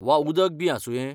वा उदक बी आसुंये?